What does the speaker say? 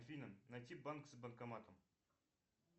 афина найти банк с банкоматом